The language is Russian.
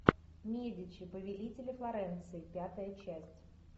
медичи повелители флоренции пятая часть